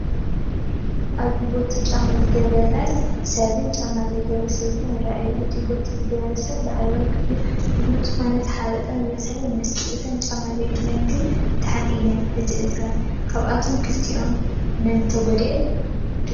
ኣብዚ ፖቲ ጫማ ዝገበረ ሰብን ጫማ ዘይገበራ ሰበይትን ይራኣዩ፡፡ ናይ ፖቲ ዝገበረ ሰብ ላዕለዋይ ክፋል እግሩ ዝኾነ ዝሓበን ዝበሰለን ይመስል፡፡ እተን ጫማ ዘይብለን ግን ድሓን እዩ እቲ እግረን፡፡ ካብዚኣቶም ክልቲኦም መንኦም ጉድኣት ይበፅሖም ትብሉ?